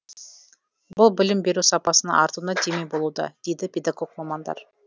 бұл білім беру сапасының артуына демеу болуда дейді педогог мамандар